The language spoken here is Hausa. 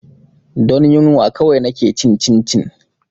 Don yunwa kawai na ke cin cincin